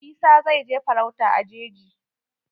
Isah zai je farauta a jeji.